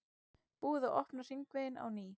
Búið að opna hringveginn á ný